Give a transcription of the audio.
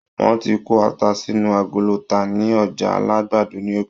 Wọ́n ti ń kó ata sínú agolo tà ní Ọjà Alagbado ní Èkó.